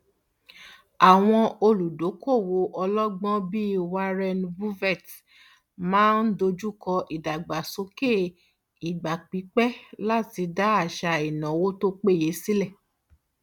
àwọn olùdókòowó ọlọgbọn bíi warren buffett máa ń dojukọ ìdàgbàsókè ìgbàpípé láti dá àṣà ináwó tó péye sílẹ